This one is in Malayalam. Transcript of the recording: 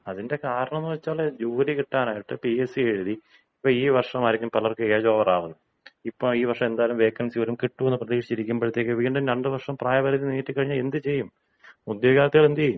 അതിന്‍റെ കാരണമെന്ന് വച്ചാല് ജോലി കിട്ടാനായിട്ട് പി.എസ്.സി. എഴുതി. ഇപ്പൊ ഈ വർഷമായിരിക്കും പലർക്കും ഏജ് ഓവർ ആകുന്നത്. ഇപ്പോൾ ഈ വർഷം എന്തായാലും വേക്കൻസി വരും കിട്ടും, എന്നുള്ള പ്രതീക്ഷിച്ചു ഇരിക്കുമ്പോഴത്തേയ്ക്ക് വീണ്ടും രണ്ടു വർഷത്തേയ്ക്ക് പായപരിധി നീട്ടി കഴിഞ്ഞാൽ എന്ത് ചെയ്യും? ഉദ്യോഗാർത്ഥികൾ എന്ത് ചെയ്യും